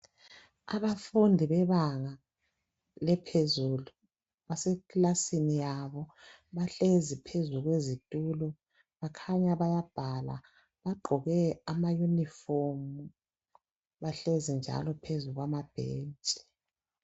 Abafundi bebanga laphezulu basekilasini yabo. Bahlezi phezulu kwesitulo . Bakhanya bayabhala . Bagqoke amayunifomu. Bahlezi njalo phezulu kwamabhentshi.